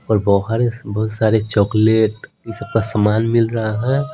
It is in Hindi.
और बह बहुत सारे चॉकलेट ये सब का सामान मिल रहा है।